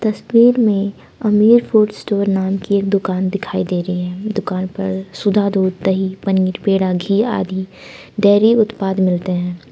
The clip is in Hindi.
तस्वीर में अमीर फूड स्टोर नाम की दुकान दिखाई दे रही है दुकान पर सुधा दूध दही पनीर पेड़ा घी आदि डेरी उत्पादन मिलते हैं।